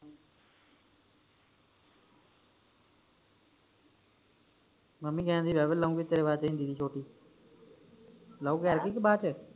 mummy ਕਹਿੰਦੇ ਕਿ ਲਊਗੀ ਤੇਰੇ ਵਾਸਤੇ ਛੋਟੀ ਕਿ ਬਾਅਦ ਵਿਚ